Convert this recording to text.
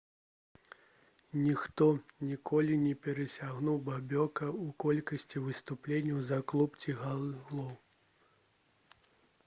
ніхто ніколі не перасягнуў бобека ў колькасці выступленняў за клуб ці галоў